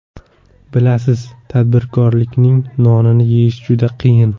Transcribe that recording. Bilasiz, tadbirkorlikning nonini yeyish juda qiyin.